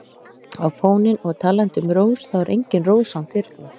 á fóninn og talandi um rós þá er engin rós án þyrna.